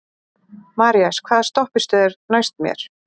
Marías, hvaða stoppistöð er næst mér?